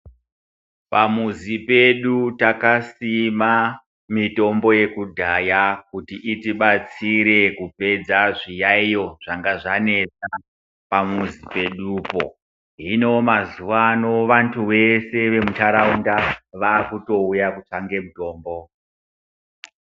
Pamuzi pedu takasima mitombo yekudhaya kuti itibatsire kupedza zviyayiyo zvanga zvanesa pamuzi pedupo. Hino mazuwaano ,vantu vese vemuntaraunda ,vakutouya kutsvake mutombo.